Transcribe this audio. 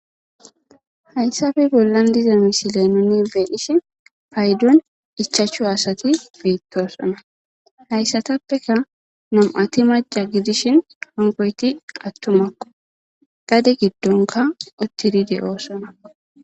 hayssappe bollan diiza misile nuni be'ishshin payddon ichachchu asati beettossona hayssatappeka nm'ati macca gidiishshin hankoyti attumakko gade giddonkka uttidi de'oosona